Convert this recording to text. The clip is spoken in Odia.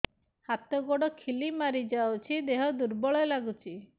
ହାତ ଗୋଡ ଖିଲା ମାରିଯାଉଛି ଦେହ ଦୁର୍ବଳ ଲାଗୁଚି